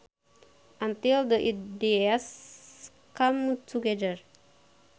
until the ideas come together